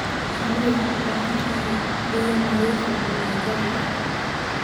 Shinnidu waxay u baahan tahay biyo nadiif ah wanaaggooda.